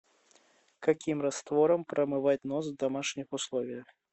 каким раствором промывать нос в домашних условиях